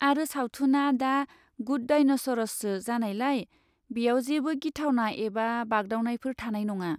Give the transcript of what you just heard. आरो सावथुनआ 'the good डायनास'र'सो जानायलाय, बेयाव जेबो गिथावथाव एबा बागदावनायफोर थानाय नङा।